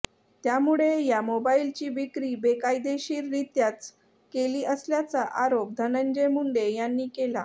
त्यामुळे या मोबाईलची विक्री बेकायदेशीररित्याच केली असल्याचा आरोप धनंजय मुंडे यांनी केला